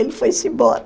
Ele foi-se embora.